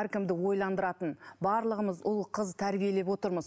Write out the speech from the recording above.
әркімді ойландыратын барлығымыз ұл қыз тәрбиелеп отырмыз